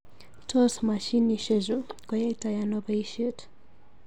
Tos mashinishe chu koyaitoi ano boishet?